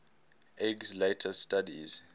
eggs later studies